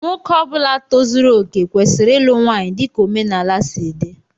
Nwoke Ọbula tozuru okè kwesịrị ịlụ nwanyị dika omenala si dị.